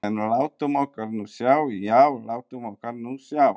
En látum okkur nú sjá, já, látum okkur nú sjá.